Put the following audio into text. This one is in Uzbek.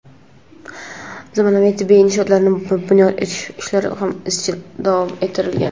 zamonaviy tibbiy inshootlarni bunyod etish ishlari ham izchil davom ettirilgan.